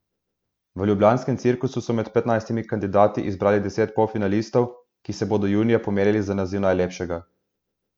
V ljubljanskem Cirkusu so med petnajstimi kandidati izbrali deset polfinalistov, ki se bodo junija pomerili za naziv najlepšega.